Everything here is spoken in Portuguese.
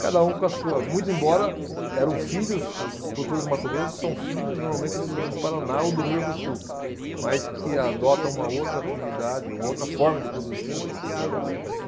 Cada um com a sua, muito embora eram filhos, os produtores do Mato Grosso são filhos normalmente dos do Paraná ou do Rio Grande do Sul, mas que adotam uma outra atividade, uma outra forma de produzir, né, por, pelas características.